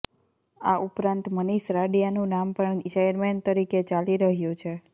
આ ઉપરાંત મનીષ રાડીયાનું નામ પણ ચેરમેન તરીકે ચાલી રહ્યું છે